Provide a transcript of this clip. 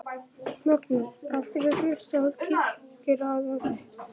Magnús: Af hverju hlustar Kirkjuráð á þig?